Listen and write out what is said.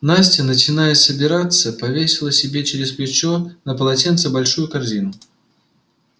настя начиная собираться повесила себе через плечо на полотенце большую корзину